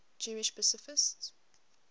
jewish pacifists